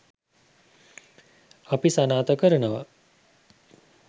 අපි සනාථ කරනවා.